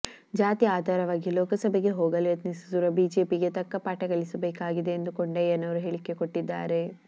ಜಾತಿ ಆಧಾರವಾಗಿ ಲೋಕಸಭೆಗೆ ಹೋಗಲು ಯತ್ನಿಸುತ್ತಿರುವ ಬಿಜೆಪಿಗೆ ತಕ್ಕ ಪಾಠ ಕಲಿಸಬೇಕಾಗಿದೆ ಎಂದು ಕೊಂಡಯ್ಯನವರು ಹೇಳಿಕೆ ಕೊಟ್ಟಿದ್ದಾರೆ